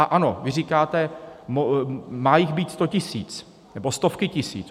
A ano, vy říkáte: má jich být sto tisíc, nebo stovky tisíc.